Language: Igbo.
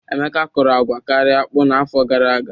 Emeka kọrọ agwa karịa akpụ n'afọ gara aga.